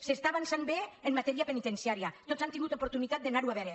s’està avançant bé en ma·tèria penitenciària tots han tingut oportunitat d’anar·ho a veure